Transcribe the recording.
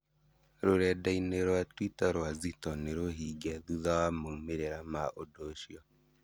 Rũrendai-inĩ rwa Twitter rwa Zitto nĩrũhinge thutha wa maumĩrĩra ma ũndũ ũcio